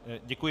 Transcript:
Děkuji.